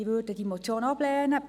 Diese würden die Motion ablehnen.